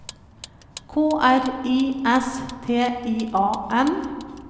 K R I S T I A N